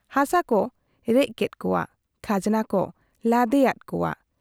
ᱦᱟᱥᱟ ᱠᱚ ᱨᱮᱡ ᱠᱮᱫ ᱠᱚᱣᱟ ,ᱠᱷᱟᱡᱽᱱᱟ ᱠᱚ ᱞᱟᱫᱮᱭᱟᱫ ᱠᱚᱣᱟ ᱾